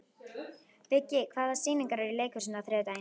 Viggi, hvaða sýningar eru í leikhúsinu á þriðjudaginn?